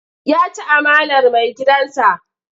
Ya ci amanar maigidansa.